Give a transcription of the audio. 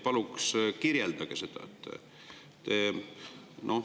Palun kirjeldage seda!